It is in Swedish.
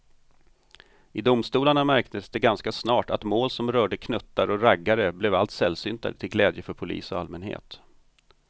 I domstolarna märktes det ganska snart att mål som rörde knuttar och raggare blev allt sällsyntare till glädje för polis och allmänhet.